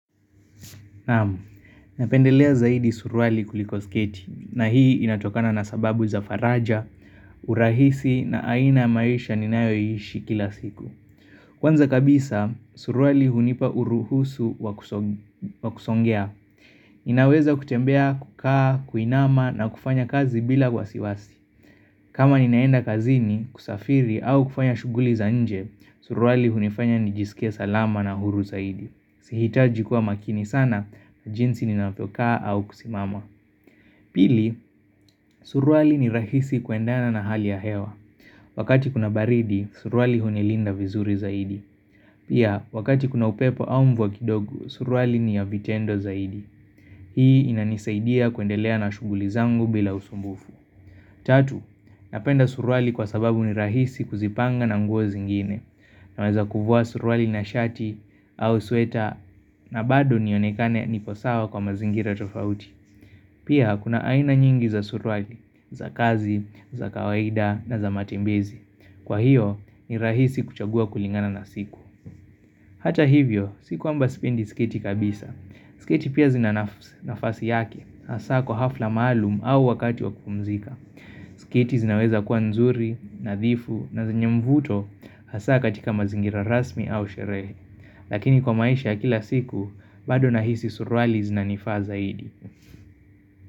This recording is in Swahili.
Naam, napendelea zaidi suruali kuliko sketi na hii inatokana na sababu za faraja, urahisi na aina maisha ninayoishi kila siku. Kwanza kabisa, suruali hunipa uruhusu wakusongea. Inaweza kutembea, kukaa, kuinama na kufanya kazi bila wasiwasi. Kama ninaenda kazini, kusafiri au kufanya shuguli za nje, suruali hunifanya nijisikie salama na huru zaidi. Sihitaji kuwa makini sana na jinsi ninavyokaa au kusimama Pili, suruali ni rahisi kuendana na hali ya hewa Wakati kuna baridi, suruali hunilinda vizuri zaidi Pia, wakati kuna upepo au mvua kidogo, suruali ni ya vitendo zaidi Hii inanisaidia kuendelea na shugulizangu bila usumbufu Tatu, napenda suruali kwa sababu ni rahisi kuzipanga na nguo zingine na weza kufua surwali na shati au suweta na bado nionekane niposawa kwa mazingira tofauti Pia hakuna aina nyingi za surwali, za kazi, za kawaida na za matembezi Kwa hiyo ni rahisi kuchagua kulingana na siku Hata hivyo, si kwamba sipendi sketi kabisa Siketi pia zinanafasi yake, hasa kwa hafla maalum au wakati wakupumzika Siketi zinaweza kuwa nzuri, nadhifu na zenye mvuto Hasa katika mazingira rasmi au sherehe Lakini kwa maisha ya kila siku, bado na hisi surwali zina nifaa zaidi.